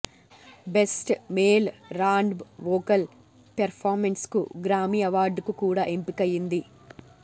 best male R and B vocal పెర్ఫార్మెన్స్కు Grammy అవార్డుకు కూడా ఎంపికయింది